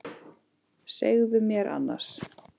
Segðu mér annars.